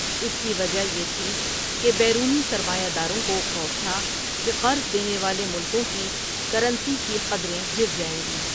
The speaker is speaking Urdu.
اس کی وجہ یہ تھی کہ بیرونی سرمایا داروں کو خوف تھا، کہ قرض دینے والے ملکوں کی کرنسی کی قدریں گرجائیں گی۔